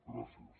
gràcies